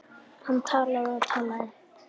Hann talaði og talaði.